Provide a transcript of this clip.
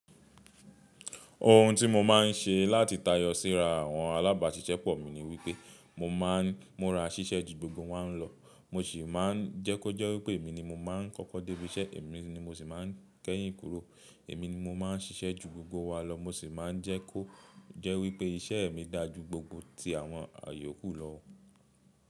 Ohun tí mo máa ń ṣe láti tayọ síra àwọn alábàáṣiṣẹ́pọ̀ mi ni wípé mo máa ń múra ṣiṣẹ́ ju gbogbo wọn lọ. Mo sì máa ń jẹ́ kó jẹ́ wípé èmi ni mo máa ń kọ́kọ́ dé ibi iṣẹ́, èmi ni mo sì máa ń kẹ́yìn kúrò. Èmi ni mo máa ń ṣiṣẹ́ ju gbogbo wa lọ. Mo sì máa ń jẹ́ kó jẹ́ wípé iṣẹ́ mi dáa ju gbogbo ti àwọn àyòkù lọ.